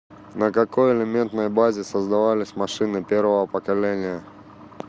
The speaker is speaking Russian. на какой элементной базе создавались машины первого поколения